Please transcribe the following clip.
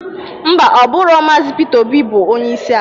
Ḿbà, Ọ bụrọ Maazi Pita Obi bụ onyeisi ala.